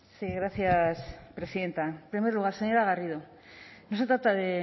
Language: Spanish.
sí gracias presidenta en primer lugar señora garrido no se trata de